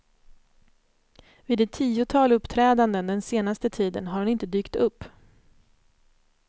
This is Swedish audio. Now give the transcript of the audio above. Vid ett tiotal uppträdanden den senaste tiden har hon inte dykt upp.